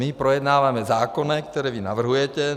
My projednáváme zákony, které vy navrhujete.